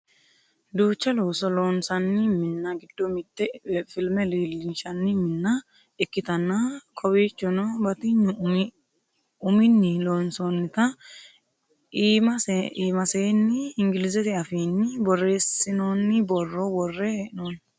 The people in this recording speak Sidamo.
duucha looso loonsanni minna giddo mitte filme leellinshanni minna ikkitanna kowiichono batinyu umini loonsoonnita iimaseenni inglizete afiinni borreessinoonni borro worre hee'noonni